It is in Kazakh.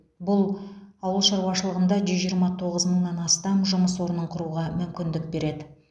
бұл ауыл шаруашылығында жүз жиырма тоғыз мыңнан астам жұмыс орнын құруға мүмкіндік береді